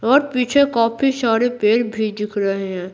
और पीछे काफी सारे पैर भी दिख रहे हैं।